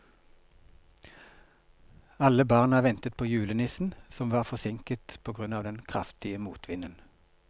Alle barna ventet på julenissen, som var forsinket på grunn av den kraftige motvinden.